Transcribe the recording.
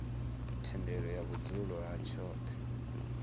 thendelo ya vhudzulo ha tshoṱhe